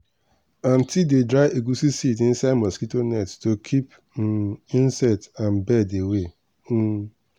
aunty dey dry egusi seeds inside mosquito net to keep um insect and bird away. um